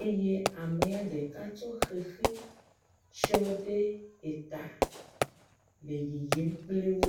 eye amea ɖeka tsɔ xexi tsyɔ ɖe eta le yiyim kpli wo.